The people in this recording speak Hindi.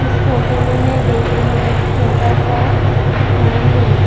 इस फोटो में मैं देख रही हूं एक छोटा सा दुकान है।